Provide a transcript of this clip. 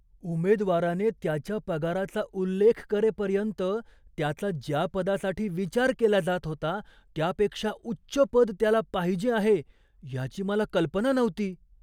उमेदवाराने त्याच्या पगाराचा उल्लेख करेपर्यंत, त्याचा ज्या पदासाठी विचार केला जात होता त्यापेक्षा उच्च पद त्याला पाहिजे आहे याची मला कल्पना नव्हती.